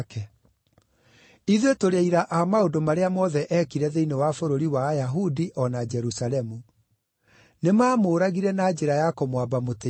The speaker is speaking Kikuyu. “Ithuĩ tũrĩ aira a maũndũ marĩa mothe eekire thĩinĩ wa bũrũri wa Ayahudi o na Jerusalemu. Nĩmamũũragire na njĩra ya kũmwamba mũtĩ-igũrũ.